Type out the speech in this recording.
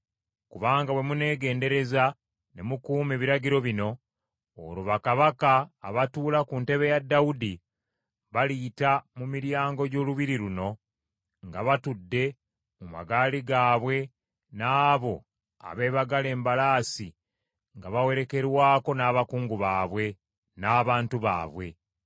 Kubanga bwe muneegendereza ne mukuuma ebiragiro bino, olwo bakabaka abatuula ku ntebe ya Dawudi baliyita mu miryango gy’olubiri luno nga batudde mu magaali gaabwe n’abo abeebagadde embalaasi nga bawerekerwako n’abakungu baabwe, n’abantu baabwe.